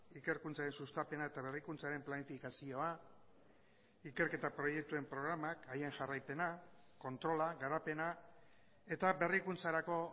ikerkuntzaren sustapena eta berrikuntzaren planifikazioa ikerketa proiektuen programak haien jarraipena kontrola garapena eta berrikuntzarako